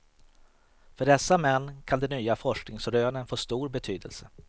För dessa män kan de nya forskningsrönen få stor betydelse.